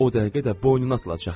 O dəqiqə də boynuna atılacaq.